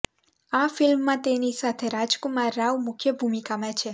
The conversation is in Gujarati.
આ ફિલ્મમાં તેની સાથે રાજકુમાર રાવ મુખ્ય ભૂમિકામાં છે